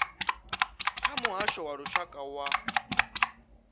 kha muhasho wa lushaka wa